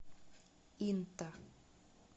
инта